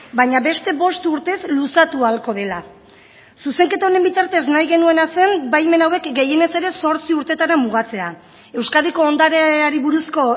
baina beste bost urtez luzatu ahalko dela zuzenketa honen bitartez nahi genuena zen baimen hauek gehienez ere zortzi urteetara mugatzea euskadiko ondareari buruzko